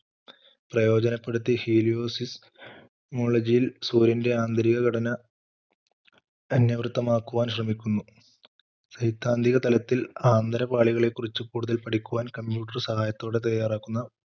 പ്രയോജനപ്പെടുത്തി hiliyosifmolagiy യിൽ സൂര്യൻറെ ആന്തരിക ഘടന അന്യർത്ഥമാക്കുവാൻ ശ്രമിക്കുന്നു സൈതാന്തിക തലത്തിൽ ആന്തരിക പാളികളെ കുറിച്ച് കൂടുതൽ പഠിക്കുവാൻ computer സഹായത്തോടെ തയ്യാറാക്കുന്ന,